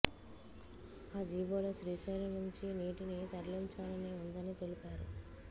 ఆ జీవోలో శ్రీశైలం నుంచి నీటిని తరలించాలని ఉందని తెలిపారు